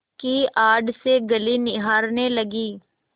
की आड़ से गली निहारने लगी